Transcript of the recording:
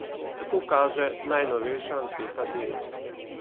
Tako kaže najnovejša anketa Dela.